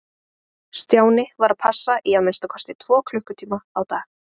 Stjáni varð að passa í að minnsta kosti tvo klukkutíma á dag.